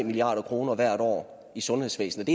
milliard kroner hvert år i sundhedsvæsenet